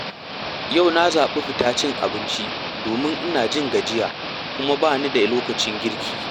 Yau na zaɓi fita cin abinci domin ina jin gajiya kuma ba ni da lokacin girki.